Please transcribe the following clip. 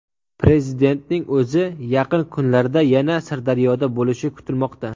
Prezidentning o‘zi yaqin kunlarda yana Sirdaryoda bo‘lishi kutilmoqda.